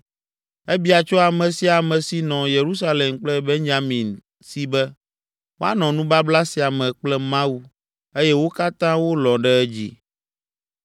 Ebia tso ame sia ame si nɔ Yerusalem kple Benyamin si be, woanɔ nubabla sia me kple Mawu eye wo katã wolɔ̃ ɖe edzi.